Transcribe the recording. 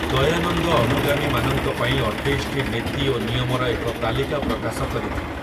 ଦୟାନନ୍ଦ ଅନୁଗାମୀମାନଙ୍କ ପାଇଁ ଅଠେଇଶଟି ନୀତି ଓ ନିୟମର ଏକ ତାଲିକା ପ୍ରକାଶ କରିଥିଲେ ।